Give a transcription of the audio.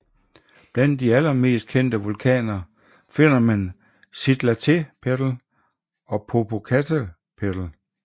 Blandt de aller mest kendte vulkaner finder man Citlaltépetl og Popocatépetl